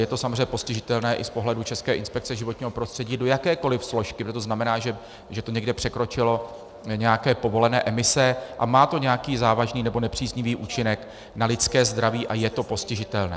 Je to samozřejmě postižitelné i z pohledu České inspekce životního prostředí do jakékoliv složky, protože to znamená, že to někde překročilo nějaké povolené emise a má to nějaký závažný nebo nepříznivý účinek na lidské zdraví a je to postižitelné.